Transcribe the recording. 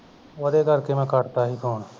ਉਹਦੇ ਕਰਕੇ ਮੈਂ ਕਟ ਤਾ ਸੀ phone